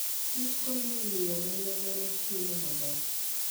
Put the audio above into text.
Kich konyo e miyo oganda dhano chiemo maber.